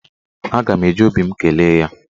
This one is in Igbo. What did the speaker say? Aga m eji obi m kelee ya.